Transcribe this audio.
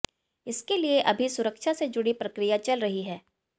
इसके लिए अभी सुरक्षा से जुड़ी प्रक्रिया चल रही है